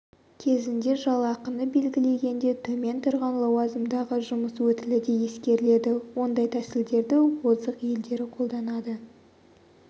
кезінде жалақыны белгілегенде төмен тұрған лауазымдағы жұмыс өтілі де ескеріледі ондай тәсілдерді озық елдері қолданады